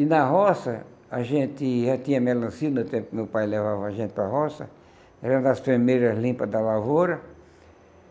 E na roça, a gente já tinha melancia, no tempo que meu pai levava a gente para a roça, era nas primeiras limpas da lavoura,